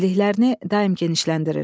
Biliklərini daim genişləndirir.